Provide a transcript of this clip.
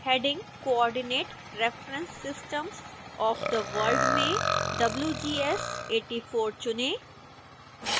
heading coordinate reference systems of the world में wgs 84 चुनें